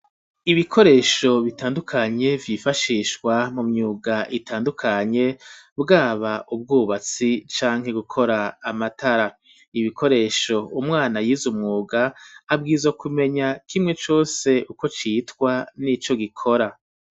Ibikoresho bitandukanye vyifashishwa mu myuga itandukanye bwaba ubwubatsi canke gukora amatara, ibikoresho umwana yize umwuga abwirizwa kumenya kimwe cose uko citwa nico gikora.